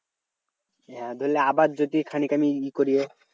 হ্যাঁ ধরলে আবার যদি খানিক আমি ই করি